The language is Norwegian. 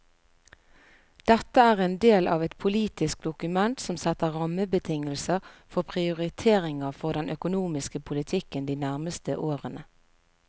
Dette er en del av et politisk dokument som setter rammebetingelser for prioriteringer for den økonomiske politikken de nærmeste årene.